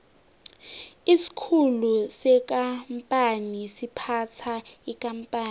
isikhulu sekampani siphatha ikampani